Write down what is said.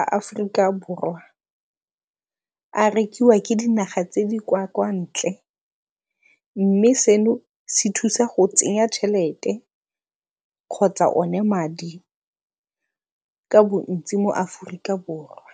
a Aforika Borwa a rekiwa ke dinaga tse di kwa ntle mme seno se thusa go tsenya tšhelete kgotsa o ne madi ka bontsi mo Aforika Borwa.